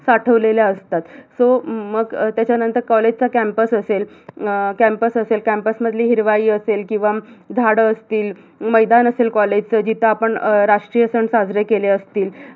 साठवलेल्या असतात so मग त्याच्यानंतर college चा campus असेल अं campus असेल campus मधली हिरवाई असेल किवा झाड असतील, मैदान असेल college च जिथ आपण अं राष्ट्रीय सण साजरे केले असतील